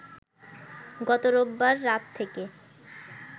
গত রোববার রাত থেকে